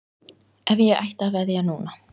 Ef ég ætti að veðja núna?